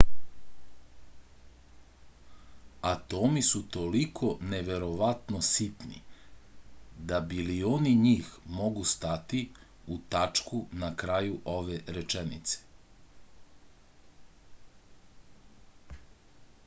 atomi su toliko neverovatno sitni da bilioni njih mogu stati u tačku na kraju ove rečenice